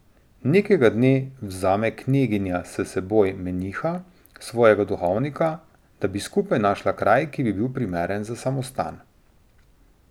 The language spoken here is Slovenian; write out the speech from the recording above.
Nekega dne vzame kneginja s seboj meniha, svojega duhovnika, da bi skupaj našla kraj, ki bi bil primeren za samostan.